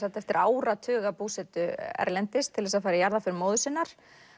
eftir áratuga búsetu erlendis til þess að fara í jarðarför móður sinnar